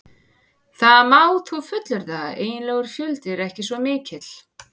Það má þó fullyrða að eiginlegur fjöldi er ekki svo mikill.